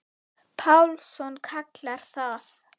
Pálsson kallar það.